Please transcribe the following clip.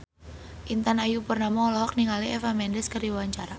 Intan Ayu Purnama olohok ningali Eva Mendes keur diwawancara